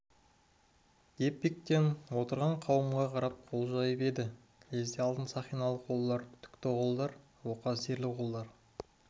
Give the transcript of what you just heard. деп бектен отырған қауымға қарап қол жайып еді лезде алтын сақиналы қолдар түкті қолдар оқа-зерлі қолдар